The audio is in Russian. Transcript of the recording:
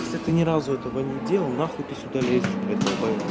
если ты ни разу этого не делал нахуй ты сюда лезешь долбаеб